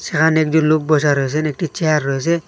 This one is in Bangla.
এখানে একজন লোক বসা রয়েসেন একটি চেয়ার রয়েসে।